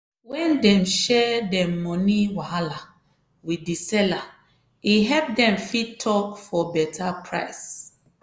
when dem share dem money wahala with di seller e help dem fit talk for beta price.